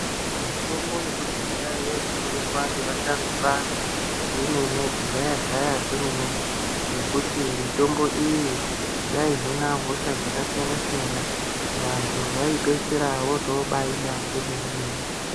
Mitombo yekudhaya yaishandiswa ngevasharukwa vomene. Kudhaya -dhaya kwomene ngekuti mitombo iyi yaihina hosha dzakasiyana- siyana. Vantu vaipeisira votobaida zvemenemene.